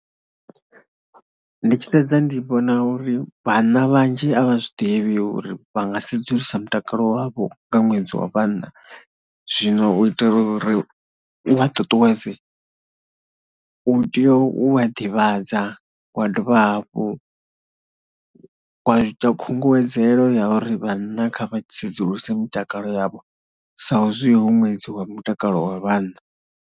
Ndi tshi sedza ndi vhona uri vhanna vhanzhi a vha zwi ḓivhi uri vha nga sedzulusa mutakalo wavho nga ṅwedzi wa vhanna. Zwino u itela uri u vha tutuwedze, u tea u vha ḓivhadza wa dovha hafhu wa ita khunguwedzelo ya uri vhanna kha vha tsedzuluse mutakalo yavho saizwi hu ṅwedzi wa mutakalo wa vhanna.